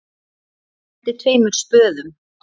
Ég henti tveimur spöðum.